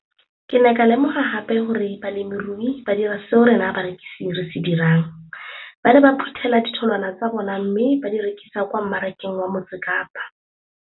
Ke ne ka lemoga gape gore balemirui ba dira seo rona barekisi re se dirang - ba ne ba phuthela ditholwana tsa bona mme ba di rekisa kwa marakeng wa Motsekapa.